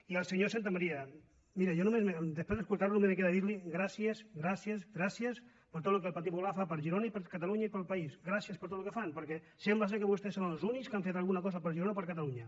i al senyor santamaría miri jo després d’escoltar lo només em queda dir li gràcies gràcies gràcies per tot el que el partit popular fa per girona i per catalunya i pel país gràcies per tot el que fan perquè sembla que vostès són els únics que han fet alguna cosa per girona o per catalunya